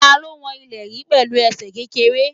Ta ló wọn ilẹ̀ yí pẹ̀lú ẹsẹ̀ kékeré?